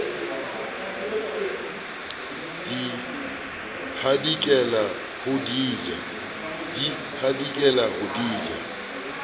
di hadikela ho di ja